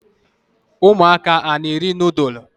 Umuaka a na eri nudulu?